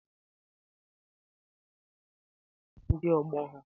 Ụmụaka na-enwe mmasị igwu egwu na ndị ọgbọ ha